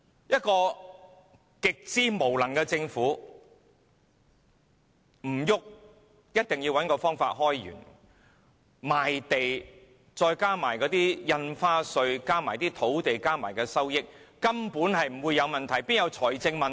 一個極之無能的政府，只管找方法開源，賣地加上印花稅和土地的收益，財政根本不會有問題，怎會有財政問題？